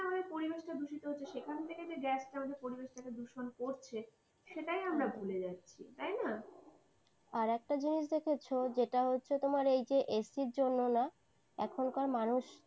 যেভাবে পরিবেশটা দূষিত হচ্ছে। সেখান থেকে gas টা যে আমাদের পরিবেশটা দূষণ করছে, সেটাই আমরা ভুলে যাচ্ছি তাই না? আর একটা জিনিস দেখেছো? যেটা হচ্ছে তোমার এই যে ac র জন্য না এখনকার মানুষ